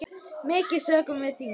Mikið söknum við þín.